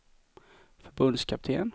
förbundskapten